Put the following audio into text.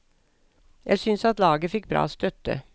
Jeg synes at laget fikk bra støtte.